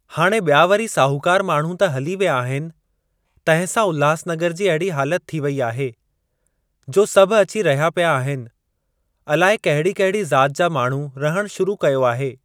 हाणे ॿिया वरी साहूकार माण्हू त हली विया आहिनि। तंहिं सां उल्हासनगर जी अहिड़ी हालति थी वेई आहे जो सभु अची रहिया पिया आहिनि, अलाए कहिड़ी कहिड़ी ज़ात जा माण्हू रहणु शुरू कयो आहे।